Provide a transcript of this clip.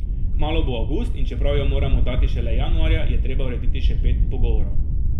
Kmalu bo avgust, in čeprav jo moram oddati šele januarja, je treba urediti še pet pogovorov.